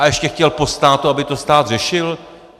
A ještě chtěl po státu, aby to stát řešil?